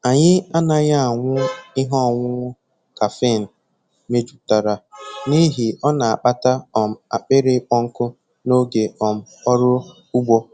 Anyị anaghị aṅụ ihe ọṅụṅụ kafịn mejupụtara n'ihi ọ na-akpata um akpịrị ịkpọ nkụ n'oge um ọrụ ugbo.